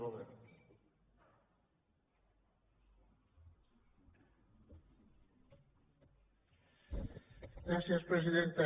gràcies presidenta